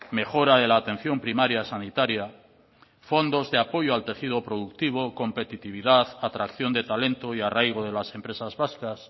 mejora de la atención primaria sanitaria fondos de apoyo al tejido productivo competitividad atracción de talento y arraigo de las empresas vascas